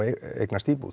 eignast íbúð